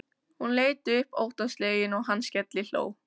Hún leit upp óttaslegin og hann skellihló.